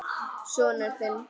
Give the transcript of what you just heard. Sonur þinn.